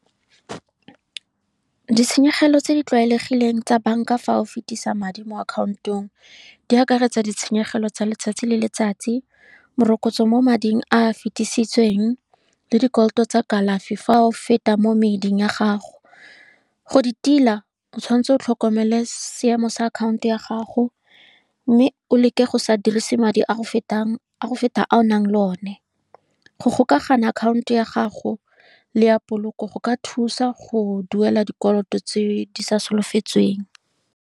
Ditshenyegelo tse di tlwaelegileng tsa banka fa o fetisa madi mo akhaontong, di akaretsa ditshenyegelo tsa letsatsi le letsatsi, morokotso mo mading a fetisitseweng le dikoloto tsa kalafi fa o feta mo meding ya gago, go di tila o tshwanetse o tlhokomele seemo sa akhanto ya gago, mme o leke go sa dirise madi a fetang a o nang le o ne. Go gokaganya akhanto ya gago, le ya poloko go ka thusa go duela dikoloto tse di sa solofetsweng.